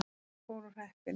Það fór á hreppinn.